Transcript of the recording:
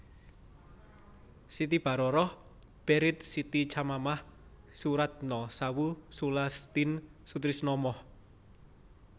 Siti Baroroh Baried Siti Chamamah Soeratno Sawoe Sulastin Sutrisno Moh